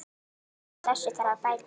Úr þessu þarf að bæta!